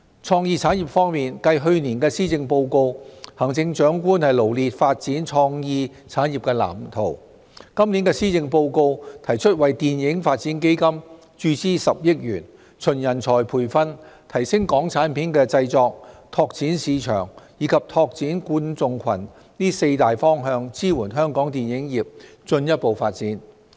創意產業方面，繼行政長官在去年的施政報告中臚列發展創意產業的藍圖，今年的施政報告提出為"電影發展基金"注資10億元，循人才培訓、提升港產片製作、拓展市場，以及拓展觀眾群這四大方向支援香港電影業進一步發展。